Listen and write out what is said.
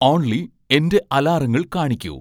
only എന്റെ അലാറങ്ങൾ കാണിക്കൂ